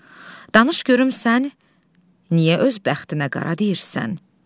Danış görüm sən niyə öz bəxtinə qara deyirsən?